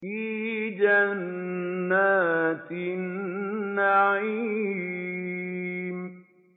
فِي جَنَّاتِ النَّعِيمِ